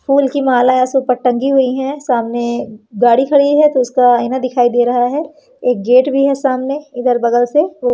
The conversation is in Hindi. फूल की माला ऐसे ऊपर टंगी हुईं हैं सामने गाड़ी खड़ी है तो उसका आईना दिखाई दे रहा हैं एक गेट भी है सामने इधर बगल से।